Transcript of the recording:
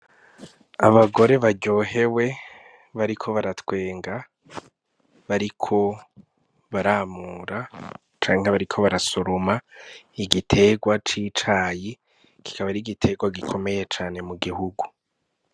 Abagore baryohewe bariko baratwenga , bariko baramura canke bariko barasoroma igiterwa c'icayi kikaba ar'igiterwa gikomeye cane mu gihugu.